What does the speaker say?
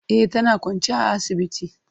E, tana kwance a asibiti.